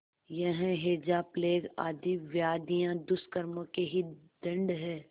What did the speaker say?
यह हैजाप्लेग आदि व्याधियाँ दुष्कर्मों के ही दंड हैं